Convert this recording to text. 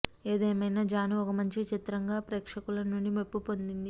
ఏదేమైనా జాను ఒక మంచి చిత్రంగా ప్రేక్షకుల నుండి మెప్పు పొందింది